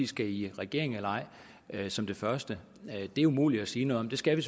skal i regering eller ej vil jeg som det første sige det er umuligt at sige noget om det skal vi